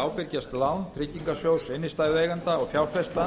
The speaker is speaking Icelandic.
ábyrgjast lán tryggingarsjóðs innstæðueigenda og fjárfesta